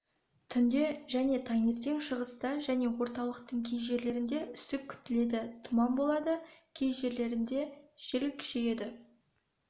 түнде және таңертең шығыста және орталықтың кей жерлерінде үсік күтіледі тұман болады кей жерлерінде жел күшейеді